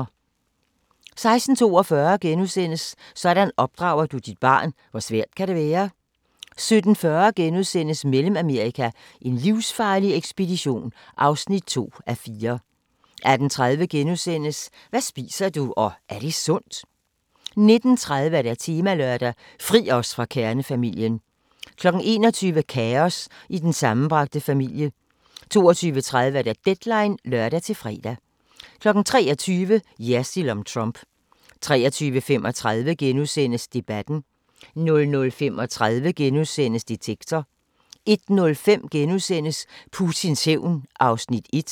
16:42: Sådan opdrager du dit barn – hvor svært kan det være? * 17:40: Mellemamerika: en livsfarlig ekspedition (2:4)* 18:30: Hvad spiser du – og er det sundt? * 19:30: Temalørdag: Fri os fra kernefamilien 21:00: Kaos i den sammenbragte familie 22:30: Deadline (lør-fre) 23:00: Jersild om Trump 23:35: Debatten * 00:35: Detektor * 01:05: Putins hævn (1:2)*